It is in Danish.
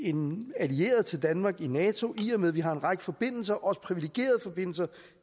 en allieret til danmark i nato og i og med at vi har en række forbindelser også privilegerede forbindelser